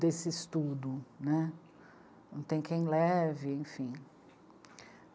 desse estudo, né, não tem quem leve, enfim.